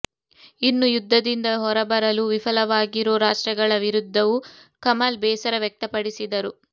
ಇನ್ನು ಯುದ್ಧದಿಂದ ಹೊರಬರಲು ವಿಫಲವಾಗಿರೋ ರಾಷ್ಟ್ರಗಳ ವಿರುದ್ಧವೂ ಕಮಲ್ ಬೇಸರ ವ್ಯಕ್ತಪಡಿಸಿದರು